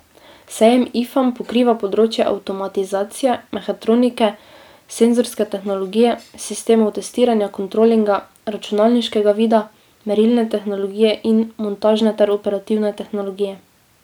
Sejem Ifam pokriva področja avtomatizacije, mehatronike, senzorske tehnologije, sistemov testiranja, kontrolinga, računalniškega vida, merilne tehnologije in montažne ter operativne tehnologije.